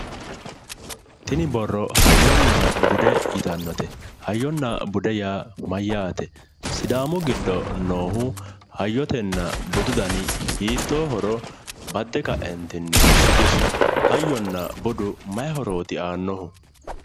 Tini borro hayyonna bude yittanote hayyonna bude yaa mayate sidaamu giddo noohu hayyotenna budu danni hiittohoro bade kaentinni shiqqishi ,hayyonna budu maayi horoti aanohu ?